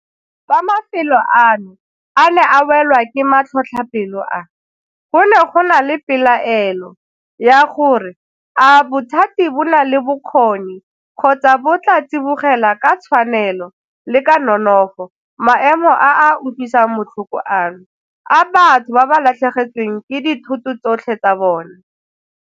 Fa mafelo ano a ne a welwa ke matlhotlhapelo a, go ne go na le pelaelo ya gore a bothati bo na le bokgoni kgotsa bo tla tsibogela ka tshwanelo le ka nonofo maemo a a utlwisang botlhoko ano a batho ba ba latlhegetsweng ke dithoto tsotlhe tsa bona.